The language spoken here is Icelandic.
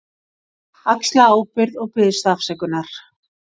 Axla ábyrgð og biðst afsökunar.